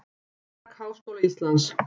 Almanak Háskóla Íslands.